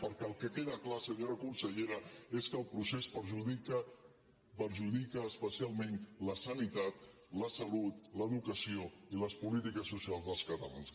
perquè el que queda clar senyora consellera és que el procés perjudica especialment la sanitat la salut l’educació i les polítiques socials dels catalans